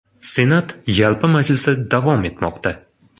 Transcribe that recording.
Senat yalpi majlisi davom etmoqda.